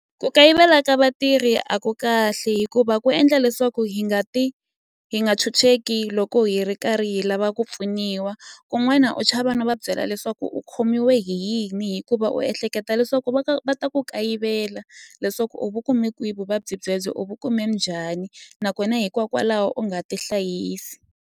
Ku kayivela ka vatirhi a ku kahle hikuva ku endla leswaku hi nga ti hi nga chucheki loko hi ri karhi hi lava ku pfuniwa kun'wana u chava no va byela leswaku u khomiwe hi yini hikuva u ehleketa leswaku va ka va ta ku kayivela leswaku u vu kume kwihi vuvabyi byebyo u vu kume njhani nakona hikwakwalaho u nga tihlayisi.